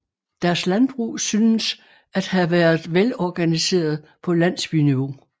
Deres landbrug synes at have været velorganiseret på landsbyniveau